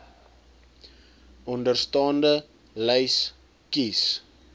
onderstaande lys kies